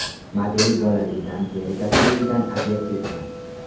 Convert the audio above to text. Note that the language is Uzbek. Model bolaligidan teri kasalligidan aziyat chekkan.